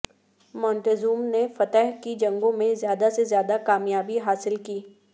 مونٹیزوم نے فتح کی جنگوں میں زیادہ سے زیادہ کامیابی حاصل کی